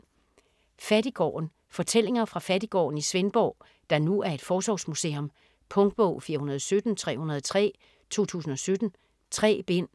Fattiggården Fortællinger fra Fattiggården i Svendborg, der nu er et forsorgsmuseum. Punktbog 417303 2017. 3 bind.